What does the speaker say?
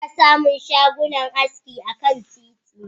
Ana samun shagunan aski akan titi.